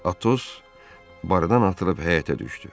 Atos barıdan atılıb həyətə düşdü.